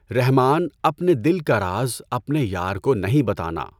رحماؔن اپنے دل کا راز اپنے یار کو نہیں بتانا